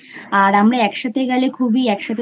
আর আমরা একসাথে গেলেখুবই একসাথে